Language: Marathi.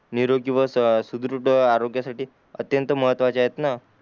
निरोगी व सुदृढ आरोग्य साठी अत्यंत महत्वाचे आहेत ना